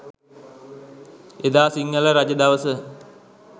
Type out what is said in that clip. එදා සිංහල රජදවස